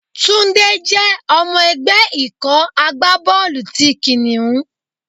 Túndé jẹ́ ọmọ ẹgbẹ́ ikọ̀ agbá bọ́ọ̀lù ti Kìnìún.